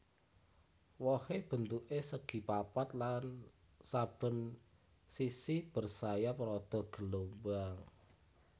Wohé bentuké segi papat lan saben sisi bersayap rada gelombang